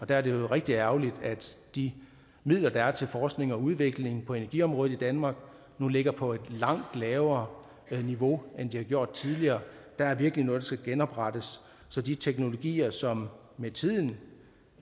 der er det rigtig ærgerligt at de midler der er til forskning og udvikling på energiområdet i danmark nu ligger på et langt lavere niveau end de har gjort tidligere der er virkelig noget der skal genoprettes så de teknologier som med tiden